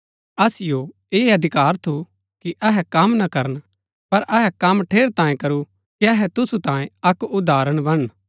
असिओ ऐह अधिकार थू कि अहै कम ना करन पर अहै कम ठेरैतांये करू कि अहै तुसु तांये अक्क उदाहरण बणन